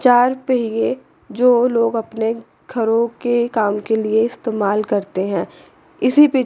चार पहिए जो लोग अपने घरों के काम के लिए इस्तेमाल करते हैं इसी पे--